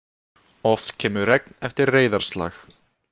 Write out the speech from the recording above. Oft kemur regn eftir reiðarslag.